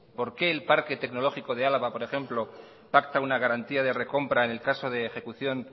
por qué el parque tecnológico de álava por ejemplo pacta una garantía de recompra en el caso de ejecución